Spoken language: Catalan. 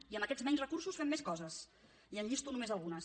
i amb aquests menys recursos fem més coses i en llisto només algunes